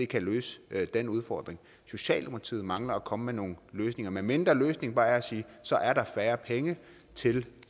kan løse den udfordring socialdemokratiet mangler at komme med nogle løsninger medmindre løsningen bare er at sige så er der færre penge til